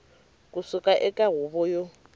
ku suka eka huvo yo